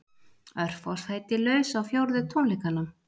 Örfá sæti laus á fjórðu tónleikana